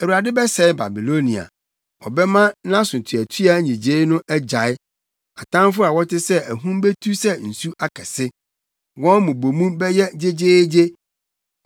Awurade bɛsɛe Babilonia; ɔbɛma nʼasotuatua nnyigyei no agyae. Atamfo a wɔte sɛ ahum betu sɛ nsu akɛse; wɔn mmubomu bɛyɛ gyegyeegye.